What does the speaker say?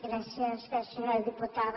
gràcies senyora diputada